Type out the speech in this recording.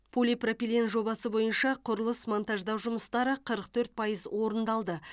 полипропилен жобасы бойынша құрылыс монтаждау жұмыстары қырық төрт пайыз орындалды